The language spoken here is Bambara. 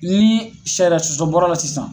Ni sariya sɔsɔ bɔr'a la sisan